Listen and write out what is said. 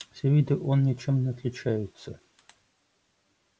с виду он ничем не отличается